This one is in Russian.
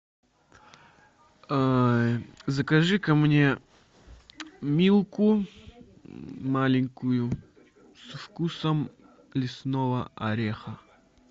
закажи ка мне милку маленькую со вкусом лесного ореха